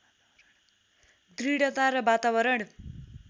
दृढता र वातावरण